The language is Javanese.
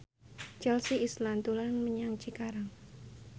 Chelsea Islan dolan menyang Cikarang